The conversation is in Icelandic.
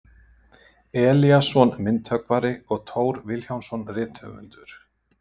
Elíasson myndhöggvari og Thor Vilhjálmsson rithöfundur.